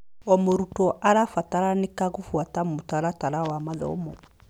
O mũrutwo arabataranĩka gũbuata mũtaratara wa mathomo.